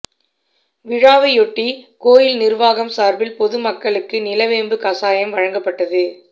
விழாவையொட்டி கோயில் நிர்வாகம் சார்பில் பொதுமக்களுக்கு நிலவேம்பு கசாயம் வழங்கப்பட்டது